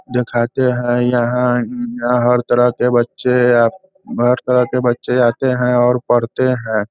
देखाते हैं यहां यहां हर तरह के बच्‍चे हर तरह के बच्‍चे आते हैंऔर पढ़ते है।